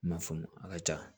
I m'a faamu a ka ca